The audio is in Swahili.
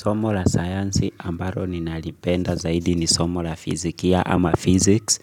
Somo la sayansi ambalo ninalipenda zaidi ni somo la fizikia ama physics.